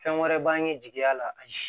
Fɛn wɛrɛ b'an ye jigiya la ayi